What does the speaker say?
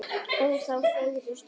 ó þá fögru steina